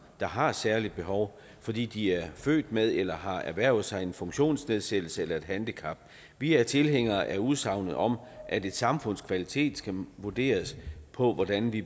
der har et særligt behov fordi de er født med eller har erhvervet sig en funktionsnedsættelse eller et handicap vi er tilhængere af udsagnet om at et samfunds kvalitet skal vurderes på hvordan det